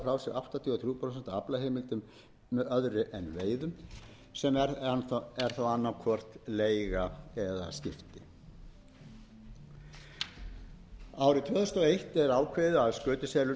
aflaheimildum með öðru en veiðum sem er þá annað hvort leiga eða skipti árið tvö þúsund og eitt er ákveðið að skötuselur